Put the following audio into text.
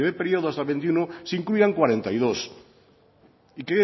periodo hasta el veintiuno se incluyan cuarenta y dos y